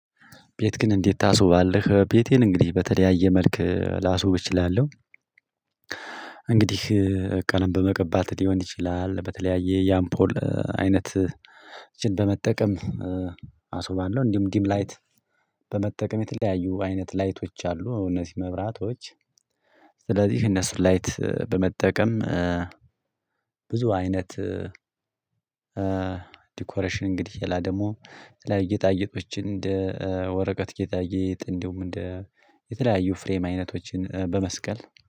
ቤት ግን እንዴት? ታስውባለህ ቤቴን እንግዲህ በተለያየ መልክ ላስውብ እችላለሁ። እንግዲህ ቀለም በመቀባት ሊሆን ይችላል በተለያየ ያፖል አይነት በመጠቀም አስውባለሁ። እንዲሁም ዲም ላይት በመጠቀም የተለያዩ አይነት ላይቶች አሉ እውነተኛ መብራቶች። ስለዚህ እነሱ ላይት በመጠቀም ብዙ አይነት ዲኮሬሽን እንግዲህ የላ ደግሞ ለጌጣጌጦች እንደ ወረቀት ጌጣጌጥ እንዲሁም የተለያዩ ፍሬም አይነቶችን በመስቀል።